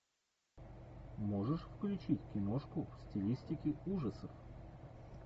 можешь включить киношку в стилистике ужасов